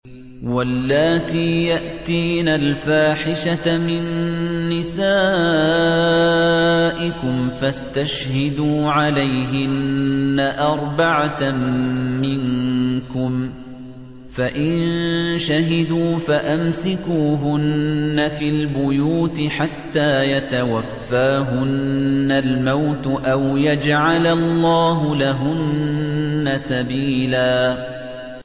وَاللَّاتِي يَأْتِينَ الْفَاحِشَةَ مِن نِّسَائِكُمْ فَاسْتَشْهِدُوا عَلَيْهِنَّ أَرْبَعَةً مِّنكُمْ ۖ فَإِن شَهِدُوا فَأَمْسِكُوهُنَّ فِي الْبُيُوتِ حَتَّىٰ يَتَوَفَّاهُنَّ الْمَوْتُ أَوْ يَجْعَلَ اللَّهُ لَهُنَّ سَبِيلًا